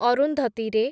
ଅରୁନ୍ଧତୀ ରେ